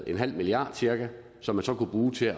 en halv milliard som man så kan bruge til